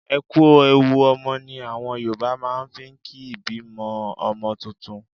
E kú ewu ọmọ ni àwọn Yorùbá máa ń fi ń kí ìbímọ ọmọ tuntun.